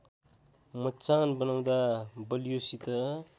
मचान बनाउँदा बलियोसित